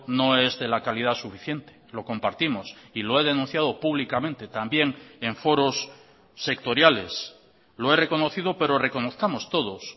no es de la calidad suficiente lo compartimos y lo he denunciado públicamente también en foros sectoriales lo he reconocido pero reconozcamos todos